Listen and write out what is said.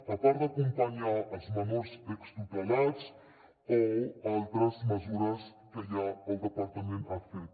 a part d’acompanyar els menors extutelats o altres mesures que ja el departament ha fet